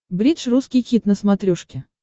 бридж русский хит на смотрешке